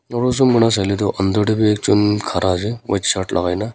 dorujon manu saile toh under teh be ekjon khara ase white shirt logai ke na.